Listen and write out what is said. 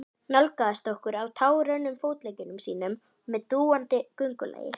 Nálgaðist okkur á tággrönnum fótleggjum sínum með dúandi göngulagi.